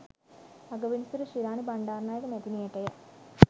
අගවිනිසුරු Shirani Bandaranaike මැතිනියටය.